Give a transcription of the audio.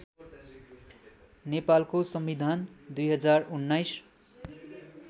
नेपालको संविधान २०१९